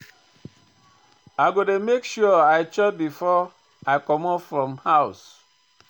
I go dey make sure I chop before I comot from house.